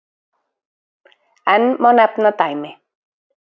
Enn má nefna dæmi.